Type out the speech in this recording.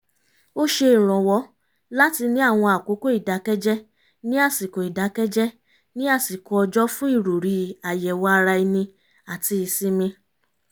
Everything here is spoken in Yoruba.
ó ṣe ìrànwọ́ láti ní àwọn àkókò ìdákẹ́jẹ́ ní àsikò ìdákẹ́jẹ́ ní àsikò ọjọ́ fún ìròrí àyẹ̀wò ara ẹni àti ìsinmi